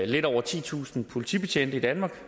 lidt over titusind politibetjente i danmark